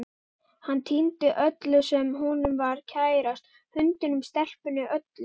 Hann týndi öllu sem honum var kærast, hundinum, stelpunni, öllu.